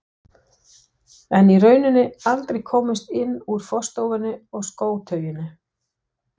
En í rauninni aldrei komist inn úr forstofunni og skótauinu.